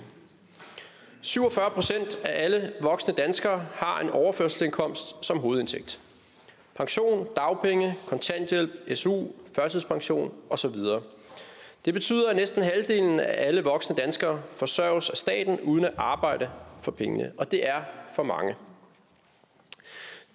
syv og fyrre procent af alle voksne danskere har en overførselsindkomst som hovedindtægt pension dagpenge kontanthjælp su førtidspension og så videre det betyder at næsten halvdelen af alle voksne danskere forsørges af staten uden at arbejde for pengene og det er for mange